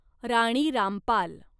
Rani Rampal